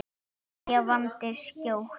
Kveðjan vandist skjótt.